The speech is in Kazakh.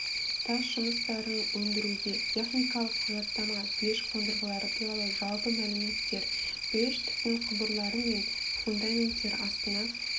тас жұмыстарын өндіруге техникалық құжаттама пеш қондырғылары туралы жалпы мәліметтер пеш түтін құбырлары мен фундаменттер астына